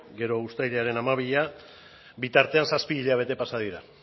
gero uztailaren hamabia bitartean zazpi hilabete pasa dira